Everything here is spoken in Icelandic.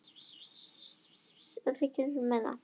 Enn er fundað hjá ríkissáttasemjara